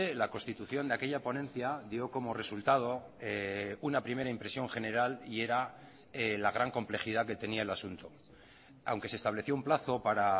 la constitución de aquella ponencia dio como resultado una primera impresión general y era la gran complejidad que tenía el asunto aunque se estableció un plazo para